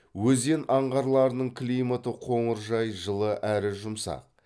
өзен аңғарларының климаты қоныржай жылы әрі жұмсақ